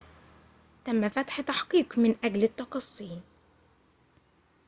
تم فتح تحقيق من أجل التقصي